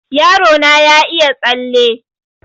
Yaro na ya iya tsalle